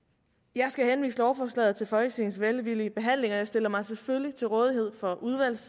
jeg skal henvise lovforslaget til folketingets velvillige behandling og jeg stiller mig selvfølgelig til rådighed for